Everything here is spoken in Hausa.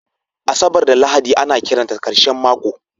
Asabar da Lahadi ana kiranta ƙarshen mako